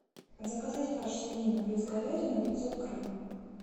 заказать фарш свинина плюс говядина пятьсот грамм